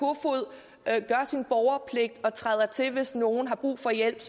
at gør sin borgerpligt og træder til hvis nogen har brug for hjælp